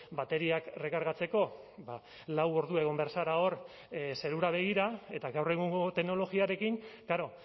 bateriak errekargatzeko lau ordu egon behar zara hor zerura begira eta gaur egungo teknologiarekin klaro